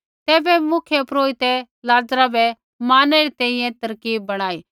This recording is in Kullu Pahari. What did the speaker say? तैबै मुख्यपुरोहिते लाज़रा बै मारणै री तैंईंयैं तरकीब बणाई